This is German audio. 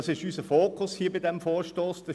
Das ist hier bei diesem Vorstoss unser Fokus.